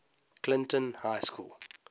clinton high school